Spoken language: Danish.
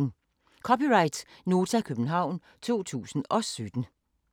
(c) Nota, København 2017